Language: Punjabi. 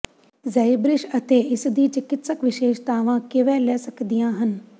ਜ਼ੈਬ੍ਰਿਸ ਅਤੇ ਇਸਦੀ ਚਿਕਿਤਸਕ ਵਿਸ਼ੇਸ਼ਤਾਵਾਂ ਕਿਵੇਂ ਲੈ ਸਕਦੀਆਂ ਹਨ